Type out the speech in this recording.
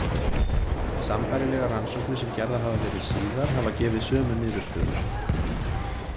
Sambærilegar rannsóknir sem gerðar hafa verið síðar hafa gefið sömu niðurstöður.